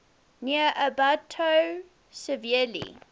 near ambato severely